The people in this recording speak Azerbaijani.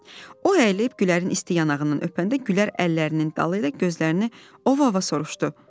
O əyilib Gülərin isti yanağından öpəndə Gülər əllərinin dalı ilə gözlərini ova-ova soruşdu: